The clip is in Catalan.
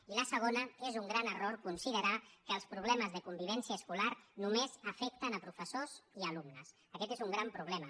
i la segona és un gran error considerar que els problemes de convivència escolar només afecten professors i alumnes aquest és un gran problema